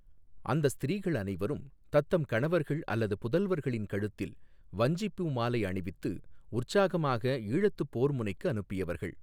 அந்த ஸ்திரீகள் அனைவரும் தத்தம் கணவர்கள் அல்லது புதல்வர்களின் கழுத்தில் வஞ்சிப் பூமாலை அணிவித்து உற்சாகமாக ஈழத்துப் போர் முனைக்கு அனுப்பியவர்கள்.